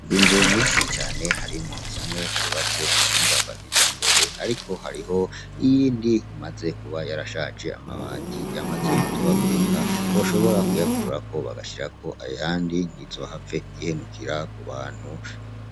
Inzu nyinshi cane harimwo zimwe zubatse ku buhinga bwa kijambere ariko hariho iyindi imaze kuba yarashaje amabati yamaze gutobagurika boshobora kuyakurako bagashirako ayandi ntizohave ihenukira ku bantu.